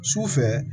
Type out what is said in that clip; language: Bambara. Sufɛ